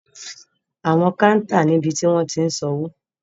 Awọn kàuntá ni ibi ti wọn tiń san owo.